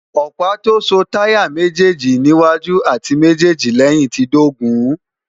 ọ̀pá tó so táyà méjéèlì níwájú àti méjéèjì lẹ́yìn ti dógùn-ún